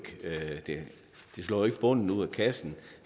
en bunden ud af kassen